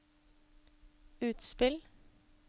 utspill